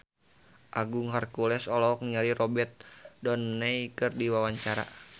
Agung Hercules olohok ningali Robert Downey keur diwawancara